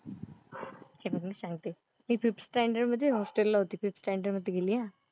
सांगते. मी fifth standard मध्ये हॉस्टेल ला होते. फिफ्ट सॅन्डर्ड मध्ये गेली ह.